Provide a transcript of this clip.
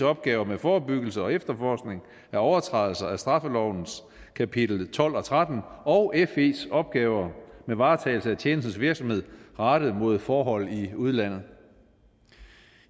opgaver med forebyggelse og efterforskning af overtrædelser af straffelovens kapitel tolv og tretten og fes opgaver med varetagelse af tjenestens virksomhed rettet mod forhold i udlandet